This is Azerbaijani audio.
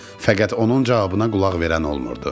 Fəqət onun cavabına qulaq verən olmurdu.